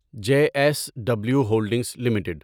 J S W holdings limited